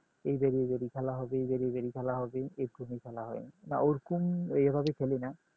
এইধার এইধারেই খেলা হবে এইরকমই খেলা হয় বা ওরকম এভাবে খেলি না